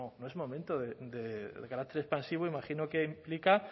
no no es momento del carácter expansivo imagino que implica